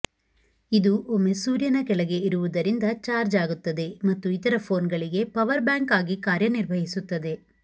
ಇದು ಒಮ್ಮೆ ಸೂರ್ಯನ ಕೆಳಗೆ ಇರುವುದರಿಂದ ಚಾರ್ಜ್ ಆಗುತ್ತದೆ ಮತ್ತು ಇತರ ಫೋನ್ಗಳಿಗೆ ಪವರ್ ಬ್ಯಾಂಕ್ ಆಗಿ ಕಾರ್ಯನಿರ್ವಹಿಸುತ್ತದೆ